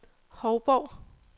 Hovborg